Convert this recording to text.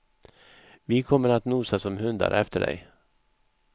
Vi kommer att nosa som hundar efter dig.